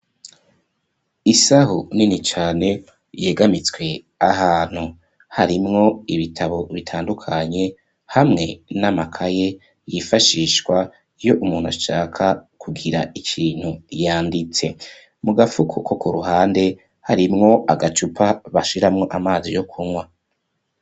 Isaho nini cane yegamitswe ahantu harimwo ibitabo bitandukanye hamwe n'amakaye hifashishwa yo umuntu ashaka kugira ikintu yanditse .Mu gafuko ko ku ruhande harimwo agacupa bashiramo amazi yo kunywa.